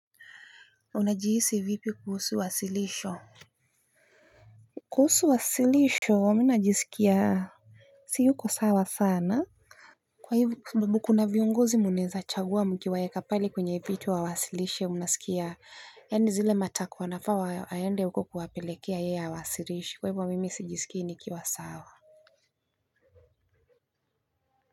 Unajihisi vipi kuhusu wasilisho Kuhusu wasilisho mimi najisikia siyuko sawa sana kwa hivyo kwa sababu kuna viungozi mnaeza chagua mkiwaeka pale kwenye viti wawasilishe unasikia yaani zile matakwa wanafaa aende huko kuwapelekea yeye hawasilishi kwa hivyo mimi sijisikii nikiwa sawa.